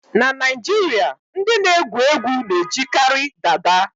. Na Naijiria, ndị na-egwu egwu na-ejikarị dada